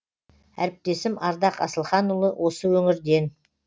әріптесім ардақ асылханұлы осы өңірден